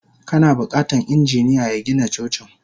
Kana bukatan injiniya ya Gina Cocin.